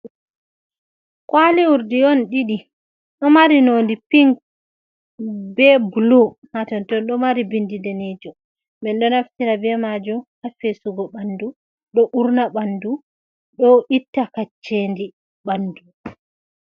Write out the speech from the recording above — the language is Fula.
Kwali Urdi on ɗiɗi, ɗo mari noonnde pink bee bulu haa ton, ɗo mari binndi daneejum, min ɗo naftira bee maajum haa feesugo ɓanndu, ɗo uurna ɓanndu ɗo itta kacceeli ɓanndu.